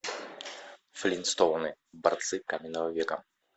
флинстоуны борцы каменного века